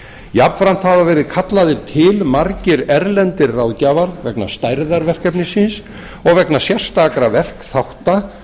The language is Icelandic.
jafnframt hafa verið kallaðir til margir erlendir ráðgjafar vegna stærðar verkefnisins og vegna sérstakra verkþátta